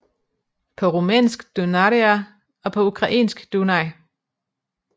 På rumænsk Dunărea og på ukrainsk Dunaj